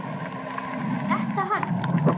Er þetta hann?